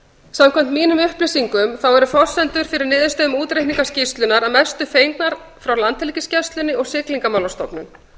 samkvæmt mínum upplýsingum eru forsendur fyrir niðurstöðum útreikninga skýrslunnar að mestu fengnar frá landhelgisgæslunni og siglingastofnun